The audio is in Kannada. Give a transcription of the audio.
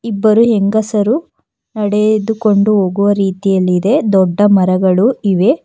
ಇಬ್ಬರು ಹೆಂಗಸರು ನಡೆದುಕೊಂಡು ಹೋಗುವ ರೀತಿಯಲ್ಲಿದೆ ದೊಡ್ಡ ಮರಗಳು ಇವೆ.